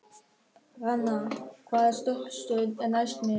Hrannar, hvaða stoppistöð er næst mér?